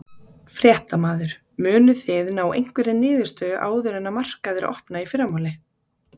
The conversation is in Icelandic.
Fréttamaður: Munuð þið ná einhverri niðurstöðu áður en að markaðir opna í fyrramálið?